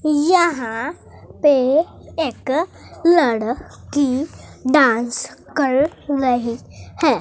यहां पे एक लड़की डांस कर रही है।